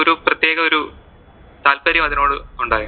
പ്രേത്യേക ഒരു താല്പര്യം അതിനോട് ഒണ്ടാരുന്നു.